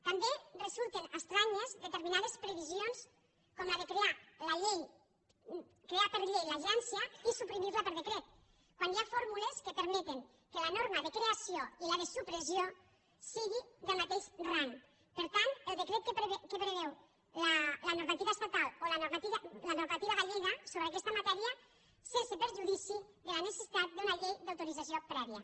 també resulten estranyes determinades previsions com la de crear per llei l’agència i suprimir la per decret quan hi ha fórmules que permeten que la norma de creació i la de supressió sigui del mateix rang per tant el decret que preveu la normativa estatal o la normativa gallega sobre aquesta matèria sense perjudici de la necessitat d’una llei d’autorització prèvia